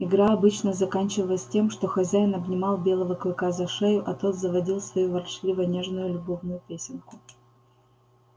игра обычно заканчивалась тем что хозяин обнимал белого клыка за шею а тот заводил свою ворчливо нежную любовную песенку